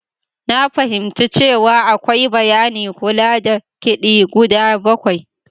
Na fahimci cewa akwai bayanin kula da kidi guda bakwai.